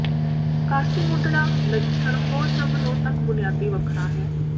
casting ਉੱਡਣਾ ਨਜਿੱਠਣ ਹੋਰ ਸਭ ਨੂੰ ਤੱਕ ਬੁਨਿਆਦੀ ਵੱਖਰਾ ਹੈ